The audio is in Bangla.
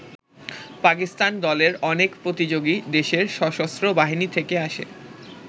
পাকিস্তান দলের অনেক প্রতিযোগী দেশের সশস্ত্র বাহিনী থেকে আসে।